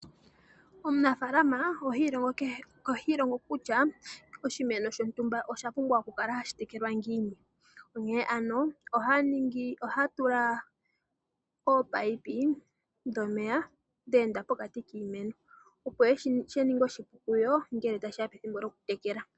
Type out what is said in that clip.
Omunafaalama ohi ilongo kutya oshimeno shontumba oshapumbwa okukala hashi tekelwa ngiini, onkee ano ohaya tula ominino dhomeya dhe enda pokati kiimeno opo shi ninge oshipu kuyo okutekela.